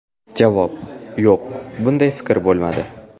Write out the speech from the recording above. Javob: Yo‘q, bunday fikr bo‘lmadi.